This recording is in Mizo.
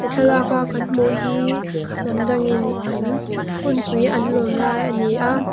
thlalaka kan hmuh hi hnam dangin an hunpui an lawm lai a ni a.